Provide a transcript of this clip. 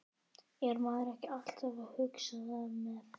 Grimmdaræði styrjaldarinnar þegar í byrjun í algleymingi.